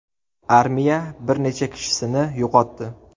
Armiya bir necha kishisini yo‘qotdi.